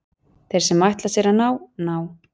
Þeir sem ætla sér að ná, ná.